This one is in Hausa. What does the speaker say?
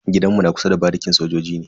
Gidan mu na kusa da barikin sojoji ne.